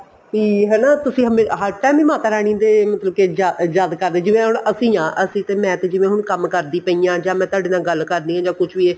ਵੀ ਹਨਾ ਤੁਸੀਂ ਹਰ time ਹੀ ਮਾਤਾ ਰਾਣੀ ਦੇ ਮਤਲਬ ਕੇ ਯਾਦ ਕਰਦੇ ਜਿਵੇਂ ਹੁਣ ਅਸੀਂ ਆ ਮੈਂ ਤੇ ਜਿਵੇਂ ਹੁਣ ਕੰਮ ਕਰਦੀ ਪਈ ਆਂ ਮੈਂ ਤੁਹਾਡੇ ਨਾਲ ਗੱਲ ਕਰਨੀ ਹੈ ਜਾਂ ਕੁੱਛ ਵੀ ਹੈ